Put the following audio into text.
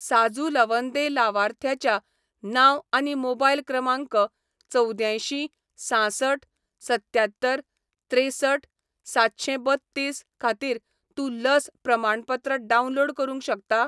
साजू लवंदे लावार्थ्याच्या नांव आनी मोबायल क्रमांक चवद्यांयशीं सांसठ सत्त्यात्तर त्रेसठ सातशेंबत्तीस खातीर तूं लस प्रमाणपत्र डावनलोड करूंक शकता?